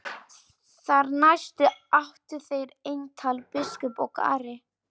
Þar næst áttu þeir eintal biskup og Ari.